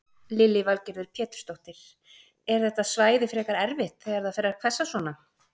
Lillý Valgerður Pétursdóttir: Er þetta svæði frekar erfitt þegar það fer að hvessa svona?